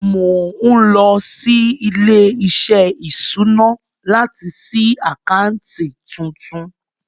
Mo ń lọ sí ilé-iṣẹ́ ìṣúná láti ṣí àkáǹtì tuntun.